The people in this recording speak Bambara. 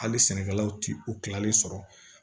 Hali sɛnɛkɛlaw ti u ti kilalen sɔrɔ